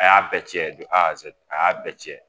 A y'a bɛɛ cɛ don a y'a bɛɛ cɛ!